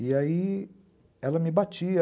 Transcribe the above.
E aí ela me batia.